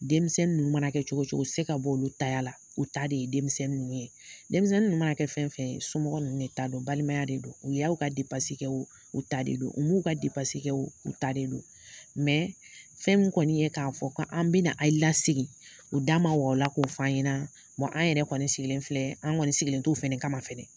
Denmisɛnin ninnu mana kɛ cogo cogo u ti se ka b'olu taya la, u ta de ye denmisɛnnin ninnu ye. Denmisɛnnin ninnu mana kɛ fɛn fɛn ye, somɔgɔ ninnu de ta don, balimaya de don. U y'aw ka depansi kɛ o, u ta de don, u m'u ka depansi kɛ o, u ta de don fɛn min kɔni ye k'a fɔ kɔ an bɛna ayi lasigi, u da ma wag'o la k'o f'an ɲɛna wa an yɛrɛ kɔni sigilen filɛ, an' ŋɔni sigilen t'o fɛnɛ kama fɛnɛ.